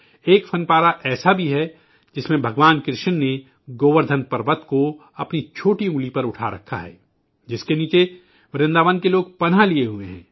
ایک فن پارہ ایسا بھی ہے، جس میں بھگوان کرشنا نے گووردھن پہاڑ کو اپنی چھوٹی انگلی پر اٹھا رکھا ہے، جس کے نیچے ورنداون کے لوگوں نے پناہ لی ہوئی ہے